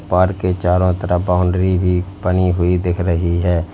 Park के चारों तरफ बाउंड्री भी बनी हुई दिख रही है।